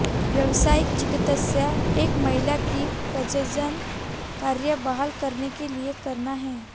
व्यावसायिक चिकित्सा एक महिला की प्रजनन कार्य बहाल करने के लिए करना है